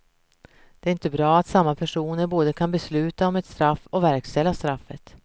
Det är inte bra att samma person både kan besluta om ett straff och verkställa straffet.